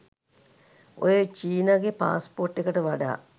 ඔය චීනගෙ පාස්පෝට් එකට වඩා